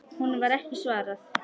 Honum var ekki svarað.